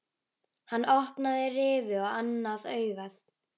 Hann opnaði rifu á annað augað.